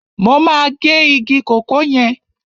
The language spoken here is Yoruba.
Mo máa gé igi kòkó yẹn.